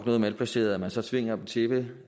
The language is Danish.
noget malplaceret at man så tvinger dem til det